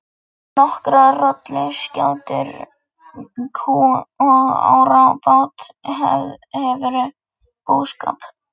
Með nokkrar rolluskjátur, kú og árabát hefurðu búskap.